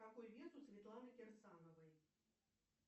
какой вес у светланы кирсановой